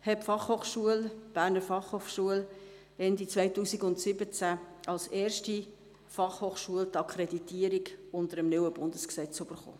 Wie Sie alle wissen, hat die BFH Ende 2017 als erste Fachhochschule die Akkreditierung unter dem neuen Bundesgesetz erhalten.